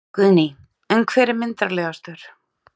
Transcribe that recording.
Guðný: En hver er myndarlegastur?